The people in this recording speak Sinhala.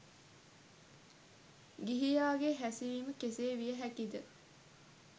ගිහියාගේ හෑසිරීම කෙසේ විය හෑකිද